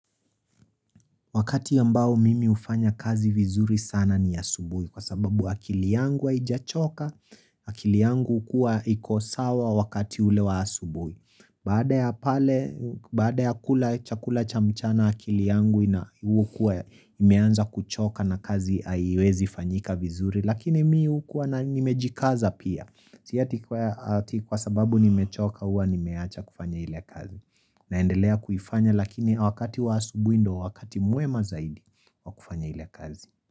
Wakati ambao mimi hufanya kazi vizuri sana ni asubuhi kwa sababu akili yangu haijachoka, akili yangu hukuwa iko sawa wakati ule wa asubuhi. Baada ya pale, baada ya kula chakula cha mchana akili yangu hukuwa imeanza kuchoka na kazi haiwezifanyika vizuri lakini mi hukuwa nimejikaza pia. Si ati kwa sababu nimechoka huwa nimewacha kufanya ile kazi. Naendelea kuifanya lakini wakati wa asubuhi ndio wakati mwema zaidi wa kufanya ile kazi.